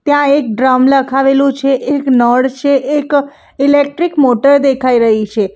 ત્યાં એક ડ્રમ લખાવેલું છે એક નળ છે એક ઇલેક્ટ્રિક મોટર દેખાય રહી છે.